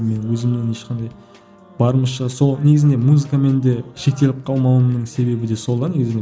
мен өзімнің ешқандай барымызша сол негізінде музыкамен де шектеліп қалмауымның себебі де сол да негізінде